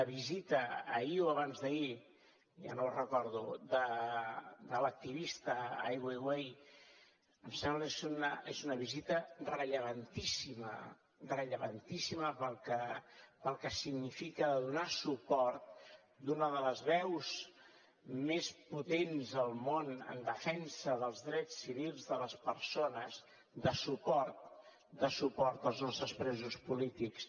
la visita ahir o abans d’ahir ja no ho recordo de l’activista ai weiwei em sembla que és una visita rellevantíssima rellevantíssima pel que significa de donar suport d’una de les veus més potents del món en defensa dels drets civils de les persones de suport de suport als nostres presos polítics